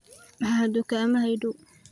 maxaa dukaamada ii dhow